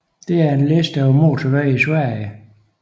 Dette er en liste over motorveje i Sverige